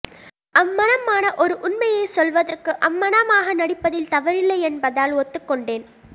அம்மணமான ஒரு உண்மையை சொல்வதற்கு அம்மணமாக நடிப்பதில் தவறில்லை என்பதால் ஒத்துக்கொண்டேன்